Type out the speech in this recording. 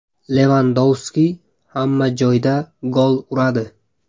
Levandovski hamma joyda gol uradi.